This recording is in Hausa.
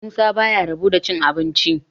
musa ba ya rabo da cin abinci